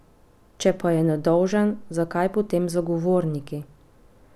Če pa je nedolžen, zakaj potem zagovorniki?